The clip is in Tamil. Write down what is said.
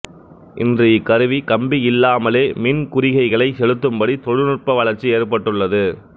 இன்று இக்கருவி கம்பியில்லாமலே மின் குறிகைகளைச் செலுத்தும்படி தொழில்நுட்ப வளர்ச்சி ஏற்பட்டுள்ளது